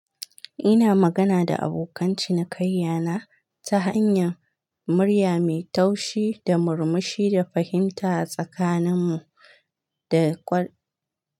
Ina magana da abokan cinikanyana ta hanyar murya mai taushi da murmushi da fahimta a tsakaninmu da kwar.